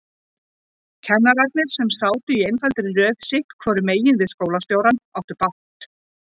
Kennararnir, sem sátu í einfaldri röð sitthvoru megin við skólastjórann, áttu bágt.